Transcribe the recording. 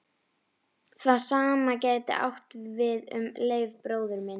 Það sama gæti átt við um Leif bróður minn.